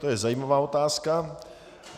To je zajímavá otázka.